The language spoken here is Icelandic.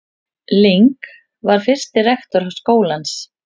Ling var fyrsti rektor skólans.